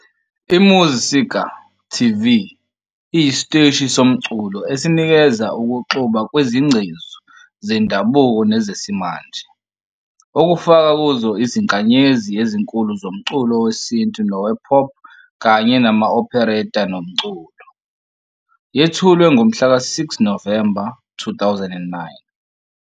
I-Muzsika TV iyisiteshi somculo esinikeza ukuxuba kwezingcezu zendabuko nezesimanje, okufaka kuzo izinkanyezi ezinkulu zomculo wesintu nowe-pop kanye nama-opereta nomculo. Yethulwe ngomhlaka 6 Novemba 2009.